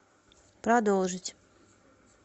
продолжить